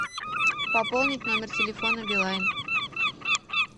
пополнить номер телефона билайн